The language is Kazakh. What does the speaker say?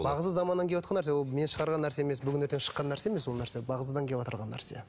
бағзы заманнан кеватқан нәрсе ол мен шығарған нәрсе емес бүгін ертең шыққан нәрсе емес ол нәрсе бағзыдан кеватырған нәрсе